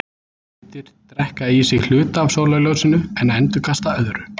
Hlutir drekka í sig hluta af sólarljósinu en endurkasta öðru.